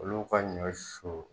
Olu ka ɲɔ susu.